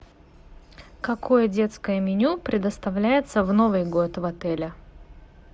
какое детское меню предоставляется в новый год в отеле